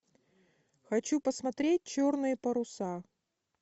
хочу посмотреть черные паруса